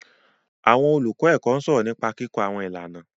Àwọn olùkọ́ ẹ̀kọ́ ń sọ̀rọ̀ nípa kíkọ́ àwọn ìlànà.